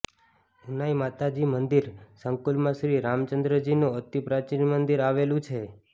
ઉનાઇ માતાજી મંદિર સંકુલમાં શ્રી રામચંદ્રજીનું અતિ પ્રાચિન મંદિર આવેલંુ છે